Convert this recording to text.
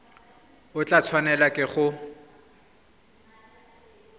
o tla tshwanelwa ke go